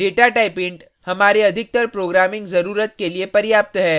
data type int हमारे अधिकतर programming जरुरत के लिए पर्याप्त है